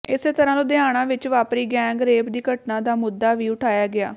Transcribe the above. ਇਸੇ ਤਰ੍ਹਾਂ ਲੁਧਿਆਣਾ ਵਿਚ ਵਾਪਰੀ ਗੈਂਗ ਰੇਪ ਦੀ ਘਟਨਾ ਦਾ ਮੁੱਦਾ ਵੀ ਉਠਾਇਆ ਗਿਆ